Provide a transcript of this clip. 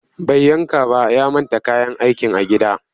Bai yanka ba ya manta kayan aikin a gida